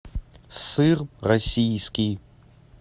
сыр российский